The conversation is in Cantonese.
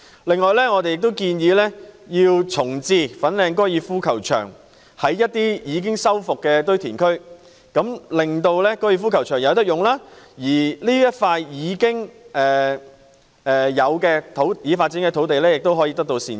另外，我們亦建議在一些已修復的堆填區重置粉嶺高爾夫球場，令大家有高爾夫球場可繼續使用之餘，這塊已開發土地亦可得到善用。